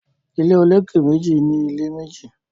Ilé olókè méjì ní ilé méjì